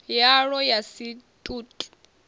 yalwo ya si t ut